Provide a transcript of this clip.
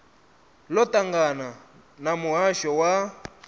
ḽo ṱangana na muhasho wa